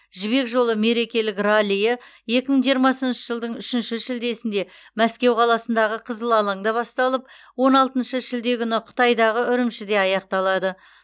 жібек жолы мерекелік раллиі екі мың жиырмасыншы жылдың үшінші шілдесінде мәскеу қаласындағы қызыл алаңда басталып он алтыншы шілде күні қытайдағы үрімжіде аяқталады